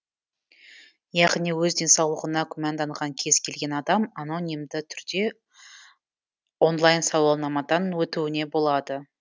яғни өз денсаулығына күмәнданған кез келген адам анонимді түрде онлайн сауалнамадан өтуіне болады